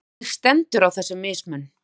Hvernig stendur á þessum mismun?